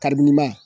Karili ma